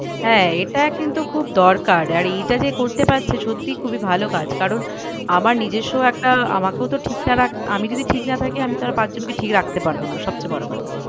হ্যাঁ এটা কিন্তু খুব দরকার আর এটা যে করতে পারছে সত্যি খুবই ভালো কাজ কারণ আমার নিজস্ব একটা আমাকেও তো ঠিক আমি যদি ঠিক না থাকি আমি তাহলে পাঁচ জনকে ঠিক রাখতে পারবো না সব চেয়ে বড়ো কথা।